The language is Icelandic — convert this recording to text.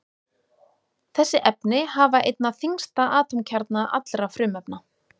Þessi efni hafa einna þyngsta atómkjarna allra frumefna.